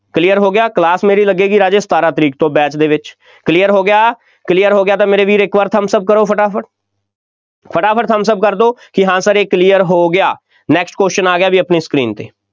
clear ਹੋ ਗਿਆ, class ਮੇਰੀ ਲੱਗੇਗੀ, ਰਾਜੇ ਸਤਾਰਾਂ ਤਾਰੀਖ ਤੋਂ batch ਦੇ ਵਿੱਚ, clear ਹੋ ਗਿਆ, clear ਹੋ ਗਿਆ ਤਾਂ ਮੇਰੇ ਵੀਰ ਇੱਕ ਵਾਰ thumbs up ਕਰੋ ਫਟਾਫਟ, ਫਟਾਫਟ thumbs up ਕਰ ਦਿਓ, ਕਿ ਹਾਂ Sir ਇਹ clear ਹੋ ਗਿਆ next question ਆ ਗਿਆ ਬਈ ਆਪਣੀ screen 'ਤੇ,